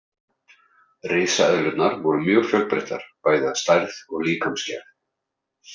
Risaeðlurnar voru mjög fjölbreyttar bæði að stærð og líkamsgerð.